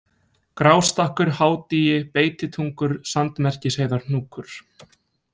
Grástakkur, Hádýi, Beititungur, Sandmerkisheiðarhnúkur